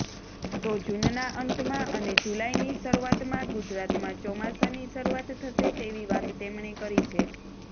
તો જૂનના અંતમાં અને જુલાઈની શરૂઆતમાં ગુજરાતમાં ચોમાસાની શરૂઆત થશે તેવી વાત તેમણે કરી છે